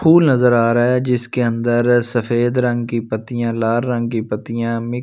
फूल नजर आ रहा है जिसके अंदर सफेद रंग की पत्तियां लाल रंग की पत्तियां--